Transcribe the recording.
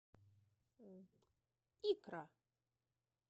икра